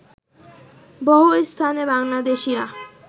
বহু স্থানে বাংলাদেশীরা